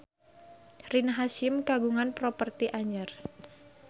Rina Hasyim kagungan properti anyar